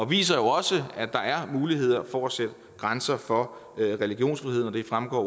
viser jo også at der er muligheder for at sætte grænser for religionsfriheden det fremgår